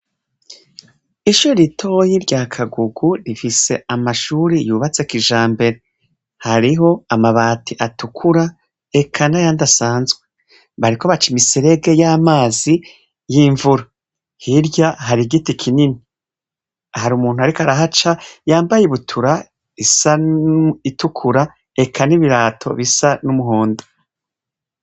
Ishure ritoya rya Kagugu rifise amashure yubatse kijambere hariho amabati atukura eka nayandi asanzwe bariko baca imiserege y'amazi yimvura, hirya hari giti kinini, hari umuntu ariko arahaca yambaye ibutura risa niritukura eka nibirato bisa n'umuhondo.